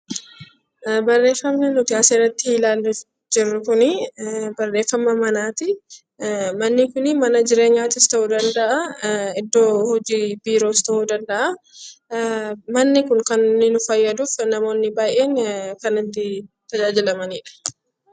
Barreeffamni asirratti ilaalaa jirru kun barreeffama manaati. Manni kun mana jireenya yookiin iddoo Biiroo ta'uu danda'a. Manni kun kan inni nu fayyaduu namoota baay'eef tajaajila kennudha.